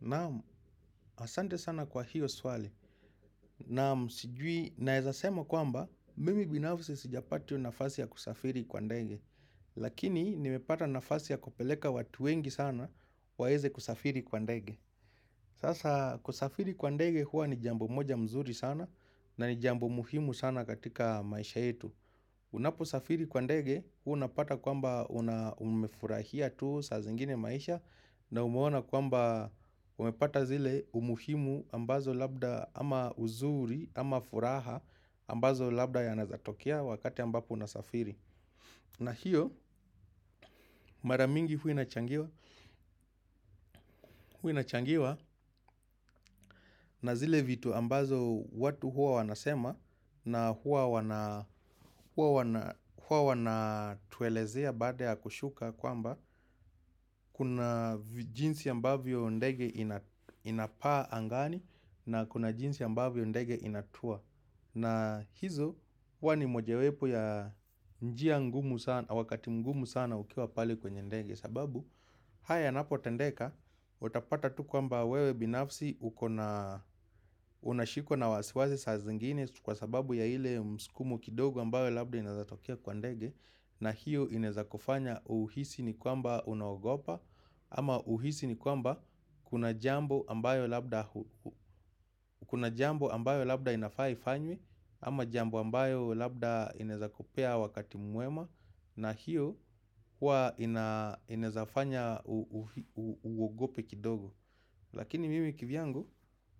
Naam, asante sana kwa hiyo swali. Naam, sijui, naeza sema kwamba, mimi binafsi sijapati hio nafasi ya kusafiri kwa ndege. Lakini, nimepata nafasi ya kupeleka watu wengi sana, waeze kusafiri kwa ndege. Sasa kusafiri kwa ndege huwa ni jambo moja mzuri sana na ni jambo muhimu sana katika maisha yetu. Unaposafiri kwa ndege huwa unapata kwamba una umefurahia tu saa zingine maisha na umeona kwamba umepata zile umuhimu ambazo labda ama uzuri ama furaha ambazo labda yanaeza tokea wakati ambapo unasafiri. Na hiyo mara mingi huwa inachangiwa na zile vitu ambazo watu huwa wanasema na huwa wanatuelezea baada ya kushuka kwamba kuna jinsi ambavyo ndege inapaa angani na kuna jinsi ambavyo ndege inatua. Na hizo huwa ni mojewepo ya njia ngumu sana, wakati mgumu sana ukiwa pale kwenye ndege sababu haya yanapotendeka, utapata tu kwamba wewe binafsi unashikwa na wasiwasi saa zingine Kwa sababu ya ile msukumo kidogo ambayo labda inaeza tokea kwa ndege na hiyo inaezakufanya uhisi ni kwamba unaogopa ama uhisi ni kwamba kuna jambo ambayo labda inafaa ifanywe ama jambo ambayo labda inaezakupea wakati mwema na hiyo huwa inaeza fanya uogope kidogo Lakini mimi kivyangu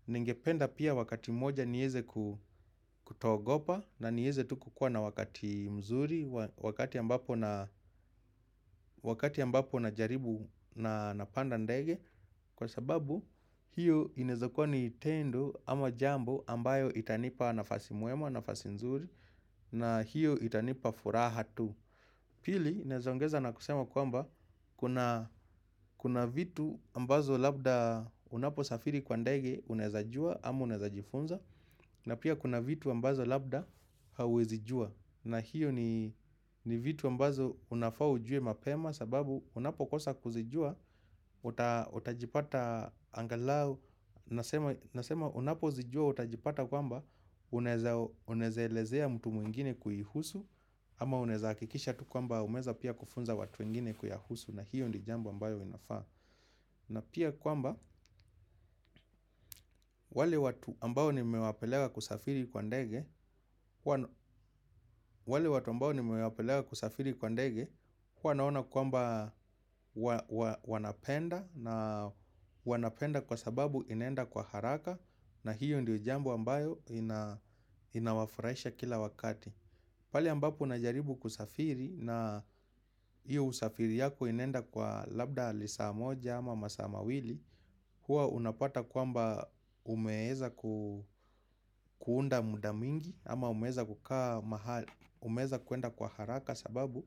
ningependa pia wakati moja nieze kutoogopa na nieze tu kukuwa na wakati mzuri Wakati ambapo najaribu na napanda ndege Kwa sababu hiyo inaeza kuwa ni tendo ama jambo ambayo itanipa nafasi mwema nafasi nzuri na hiyo itanipa furaha tu Pili, naeza ongeza na kusema kwamba Kuna vitu ambazo labda unaposafiri kwa ndege unaeza jua ama unaezajifunza na pia kuna vitu ambazo labda hauwezi jua na hiyo ni vitu ambazo unafaa ujue mapema sababu unapokosa kuzijua, utajipata angalau Nasema unapozijua utajipata kwamba Unaeza elezea mtu mwingine kuihusu ama unaeza hakikisha tu kwamba umeeza pia kufunza watu wengine kuyahusu na hiyo ndo jambo ambayo inafaa na pia kwamba wale watu ambao nimewapeleka kusafiri kwa ndege huwa naona kwamba wanapenda na wanapenda kwa sababu inaenda kwa haraka na hiyo ndo jambo ambayo inawafurahisha kila wakati pale ambapo unajaribu kusafiri na hiyo usafiri yako inaenda kwa labda lisa moja ama masa mawili Huwa unapata kwamba umeeza kuunda muda mingi ama umeeza kuenda kwa haraka sababu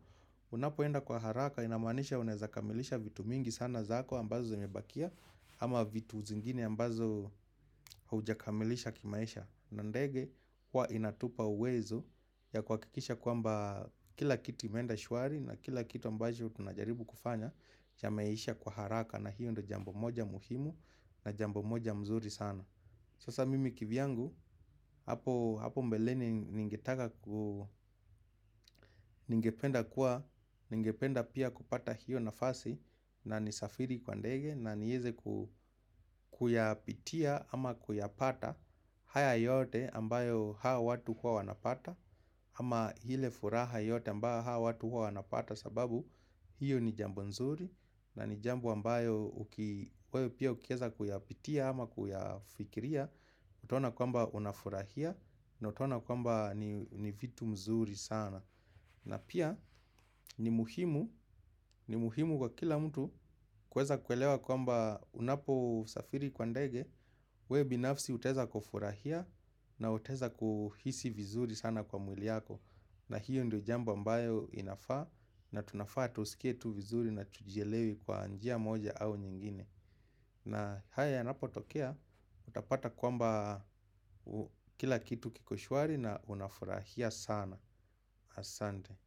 Unapoenda kwa haraka inamaanisha unaeza kamilisha vitu mingi sana zako ambazo zimebakia ama vitu zingini ambazo hujakamilisha kimaisha na ndege huwa inatupa uwezo ya kuhakikisha kwamba kila kitu imeenda shwari na kila kitu ambacho tunajaribu kufanya Chameisha kwa haraka na hiyo ndo jambo moja muhimu na jambo moja mzuri sana Sasa mimi kivyangu hapo mbeleni ningetaka ku ningependa kuwa ningependa pia kupata hiyo nafasi na nisafiri kwa ndege na nieze kuyapitia ama kuyapata haya yote ambayo hao watu huwa wanapata ama ile furaha yote ambayo hawa watu huwa wanapata sababu hiyo ni jambo nzuri na ni jambo ambayo uki wewe pia ukieza kuyapitia ama kuyafikiria utaona kwamba unafurahia na utaona kwamba ni vitu mzuri sana na pia ni muhimu kwa kila mtu kueza kuelewa kwamba unaposafiri kwa ndege wewe binafsi utaeza kufurahia na utaeza kuhisi vizuri sana kwa mwili yako na hiyo ndio jambo ambayo inafaa na tunafaa tusikie tu vizuri na tujielewe kwa njia moja au nyingine na haya yanapotokea Utapata kwamba kila kitu kiko shwari na unafurahia sana Asante.